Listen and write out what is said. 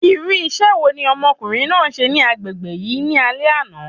Irú isẹ́ wo ni ọmọkùnrin náà se ni agbègbè yìí ní alé àná?